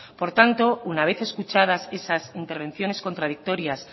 por tanto una vez escuchadas esas intervenciones contradictorias